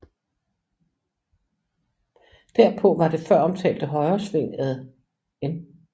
Derpå var det føromtalte højresving ad N